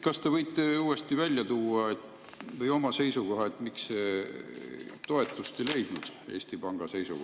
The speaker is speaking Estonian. Kas te võite uuesti välja tuua või oma seisukoha öelda, miks see Eesti Panga seisukoht toetust ei leidnud?